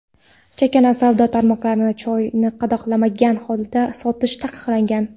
chakana savdo tarmoqlarida choyni qadoqlanmagan holda sotish taqiqlangan.